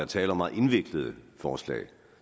tale om meget indviklede forslag